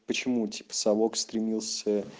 почему типа совок стремился